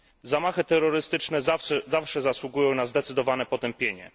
Zamachy terrorystyczne zawsze zasługują na zdecydowane potępienie.